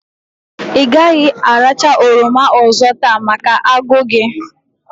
I gaghi arakwa oroma ozo taa maka ago gi